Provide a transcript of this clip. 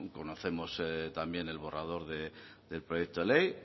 conocemos también el borrador del proyecto ley